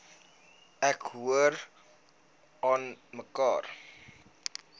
ek hoor aanmekaar